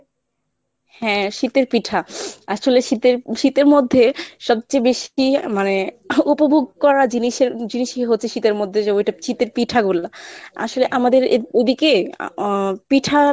হ্যা শীতের পিঠা, আসলে শীতের শীতের মধ্যে সবচেয়ে বেশি মানে উপভোগ করা জিনিষের জিনিষই হচ্ছে শীতের মধ্যে যে ঐটা শীতের পিঠা গুলা, আসলে আমাদের ঐদিকে আহ পিঠা